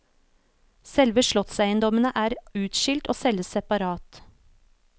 Selve slottseiendommene er utskilt og selges separat.